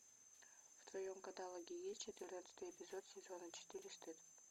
в твоем каталоге есть четырнадцатый эпизод сезона четыре стыд